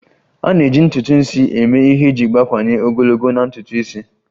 A na-eji ntutu isi eme ihe iji gbakwunye ogologo na ntutu isi.